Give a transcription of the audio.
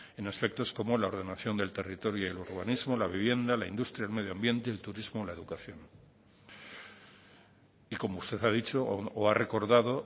en aspectos como la ordenación del territorio el urbanismo la vivienda la industria el medio ambiente el turismo o la educación y como usted ha dicho o ha recordado